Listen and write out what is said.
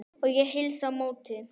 Ég heilsa á móti.